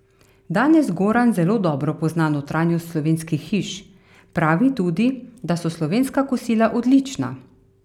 Danes Goran zelo dobro pozna notranjost slovenskih hiš, pravi tudi, da so slovenska kosila odlična.